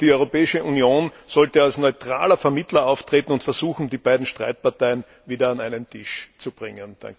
Die Europäische Union sollte als neutraler Vermittler auftreten und versuchen, die beiden Streitparteien wieder an einen Tisch zu bringen.